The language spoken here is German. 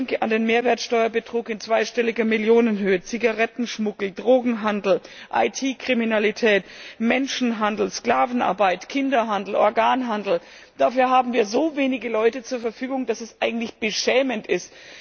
Ich denke an den Mehrwertsteuerbetrug in zweistelliger Millionenhöhe, Zigarettenschmuggel, Drogenhandel, IT Kriminalität, Menschenhandel, Sklavenarbeit, Kinderhandel, Organhandel dafür haben wir so wenige Leute zur Verfügung, dass es eigentlich beschämend ist.